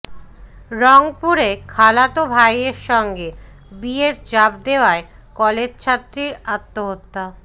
রংপুরে খালাতো ভাইয়ের সঙ্গে বিয়ের চাপ দেয়ায় কলেজছাত্রীর আত্মহত্যা